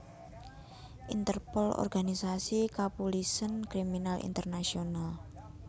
Interpol Organisasi Kapulisèn Kriminal Internasional